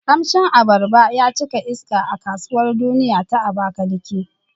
Kamshin abarba ya cika iska a Kasuwar Duniya ta Abakaliki.